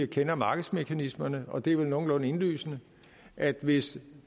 kender markedsmekanismerne og det er vel nogenlunde indlysende at hvis